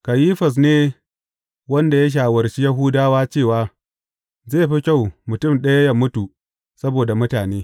Kayifas ne wanda ya shawarci Yahudawa cewa zai fi kyau mutum ɗaya yă mutu saboda mutane.